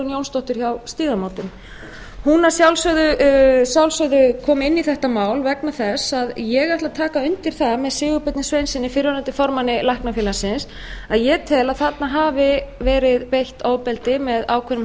jónsdóttir hjá stígamótum hún að sjálfsögðu kom inn í þetta mál vegna þess að ég ætla að taka undir það með sigurbirni sveinssyni fyrrverandi formanni læknafélagsins að ég tel að þarna hafi verið beitt ofbeldi með ákveðnum